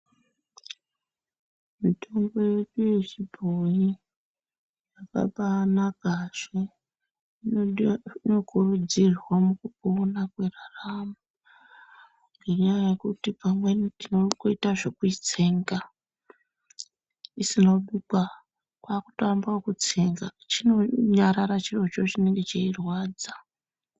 Mitombo yechibhoi yakanaka, inokurudzirwa mukupona kweraramo ngenyaya yekuti amweni tinongoita zvekuitsenga isina kubikwa, kwakutoamba ngekutsenga, chinonyarara chirocho chinenge cheirwadza.